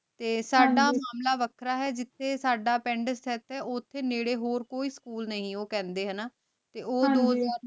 ਤੇ ਸਦਾ ਮਾਮਲਾ ਵਖਰਾ ਹੈ ਜਿਥੇ ਸਦਾ ਪਿੰਡ ਸ੍ਤੇਫ੍ਤ ਆਯ ਓਥੇ ਨੇਰੇ ਹੋਰ ਕੋਈ ਸਕੂਲ ਨਾਈ ਊ ਕੇਹ੍ਨ੍ਡੇ ਹਾਨਾ ਤੇ ਊ ਹਾਂਜੀ